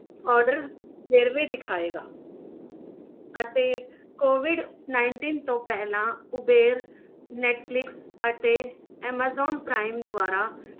Order ਵੇਰਵੇ ਦਿਖਾਏਗਾ ਅਤੇ COVID nineteen ਤੋਂ ਪਹਿਲਾਂ ਉਵੇਲ netflix ਅਤੇ amazonprime ਦੁਆਰਾ